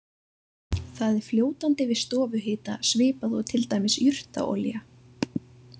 Það er fljótandi við stofuhita svipað og til dæmis jurtaolía.